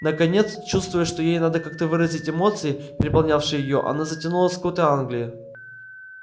наконец чувствуя что ей надо как-то выразить эмоции переполнявшие её она затянула скоты англии